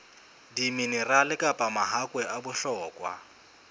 diminerale kapa mahakwe a bohlokwa